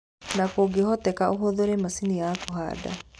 Na kũngĩhoteka ũhũthĩre macini ya kũhanda